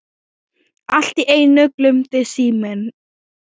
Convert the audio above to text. Allt í einu glumdi síminn.